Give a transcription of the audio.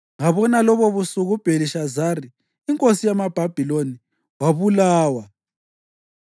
Ngabona lobobusuku uBhelishazari, inkosi yamaBhabhiloni wabulawa,